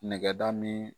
Nɛgɛ da min